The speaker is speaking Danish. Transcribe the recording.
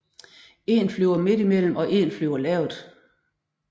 En flyver midt i mellem og en flyver lavt